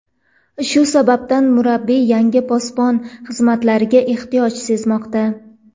Shu sababdan, murabbiy yangi posbon xizmatlariga ehtiyoj sezmoqda.